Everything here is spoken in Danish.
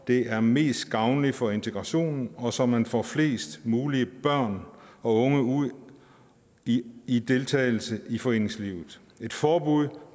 det er mest gavnligt for integrationen og så man får flest mulige børn og unge ud i i deltagelse i foreningslivet et forbud